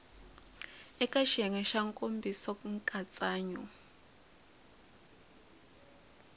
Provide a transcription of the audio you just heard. eka xiyenge xa nkomiso nkatsakanyo